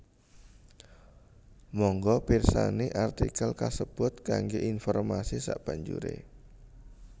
Mangga pirsani artikel kasebut kanggo informasi sabanjuré